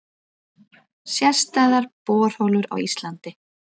Sérstæðar borholur á Íslandi